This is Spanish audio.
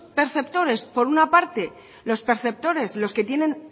perceptores por una parte los perceptores los que tienen